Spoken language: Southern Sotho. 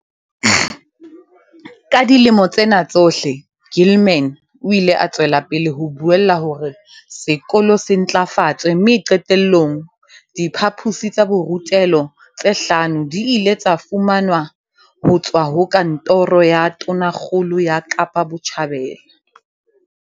Ka dilemo tsena tsohle, Gilman o ile a tswela pele ho buella hore sekolo se ntlafatswe mme qete llong, diphaposi tsa borutelo tse hlano di ile tsa fumanwa ho tswa ho Kantoro ya Tonakgolo ya Kapa Botjhabela.